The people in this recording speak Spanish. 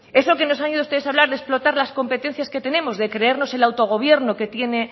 eso que nos han ido ustedes hablar de explotar las competencias que tenemos de creernos el autogobierno que tiene